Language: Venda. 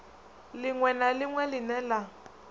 ḽiṅwe na ḽiṅwe ḽine ḽa